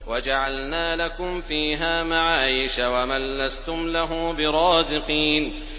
وَجَعَلْنَا لَكُمْ فِيهَا مَعَايِشَ وَمَن لَّسْتُمْ لَهُ بِرَازِقِينَ